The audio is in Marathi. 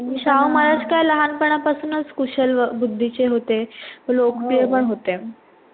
शाहू महाराज काय लहानपणापासूनच कुशल बुद्धीचे होते. लोकप्रिय पण होते.